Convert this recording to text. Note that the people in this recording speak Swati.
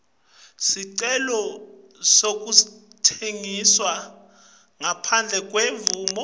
sicelo sekutsengisa ngaphandle